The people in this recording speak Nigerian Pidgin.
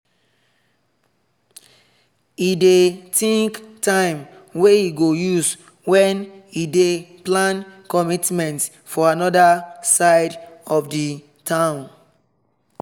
e dey think time wey e go use when e dey plan commitments for anoda side of the town